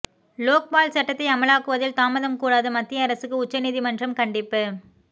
லோக்பால் சட்டத்தை அமலாக்குவதில் தாமதம் கூடாது மத்திய அரசுக்கு உச்ச நீதிமன்றம் கண்டிப்பு